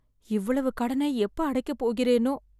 இவ்வளவு கடனை எப்ப அடைக்கப் போகிறேனோ?